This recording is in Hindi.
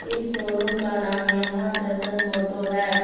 इस शोरूम का नाम यमाहा टशन मोटो है।